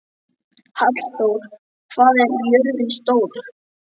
Hallþór, hvað er jörðin stór?